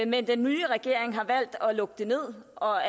men den nye regering har valgt at lukke det ned og